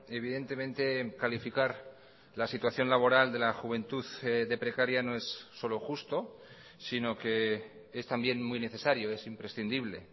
evidentemente calificar la situación laboral de la juventud de precaria no es solo justo sino que es también muy necesario es imprescindible